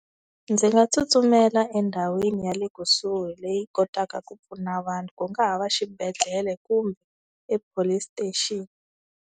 Ndzi nga tsutsumela endhawini ya le kusuhi leyi kotaka ku pfuna vanhu ku nga ha va exibedhlele kumbe e-police station.